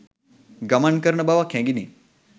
ගමන් කරන බවක් හැඟුණි.